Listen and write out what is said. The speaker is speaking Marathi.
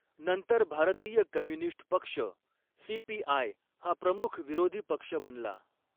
नंतर भारतीय कम्युनिस्ट पक्ष सीपीआय हा प्रमुख विरोधी पक्ष बनला.